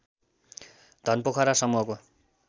घनपोखरा समूहको